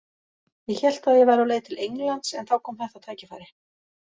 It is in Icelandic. Ég hélt að ég væri á leið til Englands en þá kom þetta tækifæri.